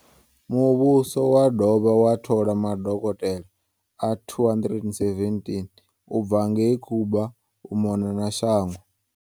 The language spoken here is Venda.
Muvhuso wo dovha wa thola madokotela a 217 u bva ngei Cuba u mona na shango.